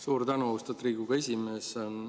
Suur tänu, austatud Riigikogu esimees!